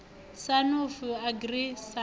sa nafu agri sa na